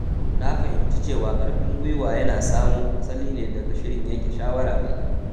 Na fahimci cewa karfin gwiwa yana samo asali ne daga shirin yanke shawara mai kyau.